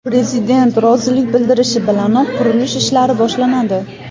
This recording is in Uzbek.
Prezident rozilik bildirishi bilanoq qurilish ishlari boshlanadi.